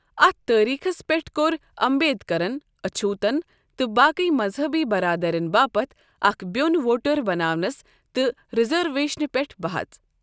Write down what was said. اتھ تٲریٖخس پیٹھ كو٘ر امبیدكرن اچھوتن تہٕ باقی مذہبی برادرِین باپت اكھ بِیو٘ن ووٹر بناونس تہٕ رِزرویشِنہِ پیٹھ بحژ ۔